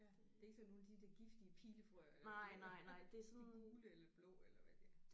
Ja det er ikke sådan nogle af de der giftige pilefrøer eller de der. De gule eller blå eller hvad de er